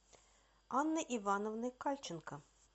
анны ивановны кальченко